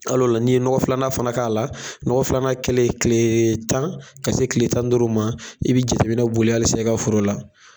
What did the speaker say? Al'o la ni ye nɔkɔ filanan fana k'a la nɔkɔ filanan kɛlen tile tan ka se tile tan ni duuru ma i bɛ jɛteminɛ boli halisa i ka foro la.